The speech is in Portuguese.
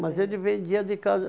Mas ele vendia de casa.